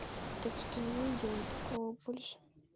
так что не делай такого больше